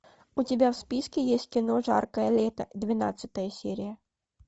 у тебя в списке есть кино жаркое лето двенадцатая серия